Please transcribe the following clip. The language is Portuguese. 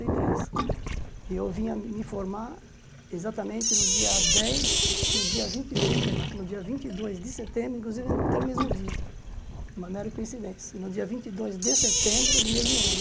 e três e eu vim a me formar exatamente no dia dez, no dia vinte e dois, perdão, no dia vinte e dois de setembro, inclusive até o mesmo dia, uma mera coincidência, no dia vinte e dois de setembro do mesmo ano.